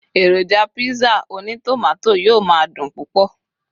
eroja pizza oni tomato yíò ma dùn púpò